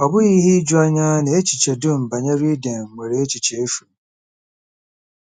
Ọ bụghị ihe ijuanya na echiche dum banyere Iden nwere echiche efu.